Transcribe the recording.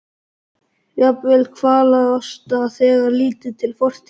Jafnvel kvalalosta þegar litið er til fortíðar hans.